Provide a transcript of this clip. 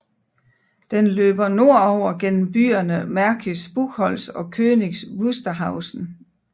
Den løber nordover gennem byerne Märkisch Buchholz og Königs Wusterhausen